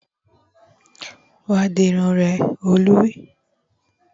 Wá dirun rẹ! Olú wí